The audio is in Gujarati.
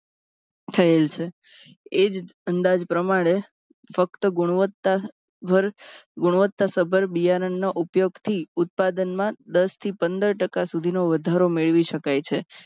થયેલ છે. એક અંદાજ પ્રમાણે ફક્ત ગુણવત્તા સભર ગુણવત્તા સભર બિયારણનો ઉપયોગથી ઉત્પાદનમાં દસ થી પંદર ટકા સુધીનો વધારો મેળવી શકાય છે.